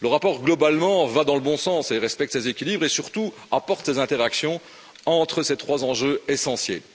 Le rapport, globalement, va dans le bon sens et respecte ces équilibres et surtout apporte ces interactions entre ces trois enjeux essentiels.